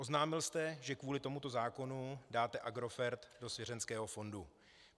Oznámil jste, že kvůli tomuto zákonu dáte Agrofert do svěřeneckého fondu.